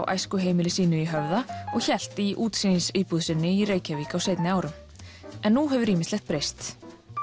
æskuheimili sínu í Höfða og hélt í útsýnisíbúð sinni í Reykjavík á seinni árum en nú hefur ýmislegt breyst